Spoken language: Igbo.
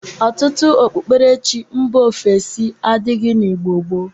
Ọtụtụ okpukperechi mba ofesi adịrịghị n'Igbo gboo.